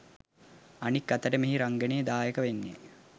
අනික් අතට මෙහි රංගනයෙන් දායක වෙන්නෙ